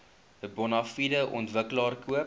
bonafide ontwikkelaar koop